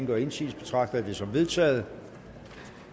gør indsigelse betragter jeg det som vedtaget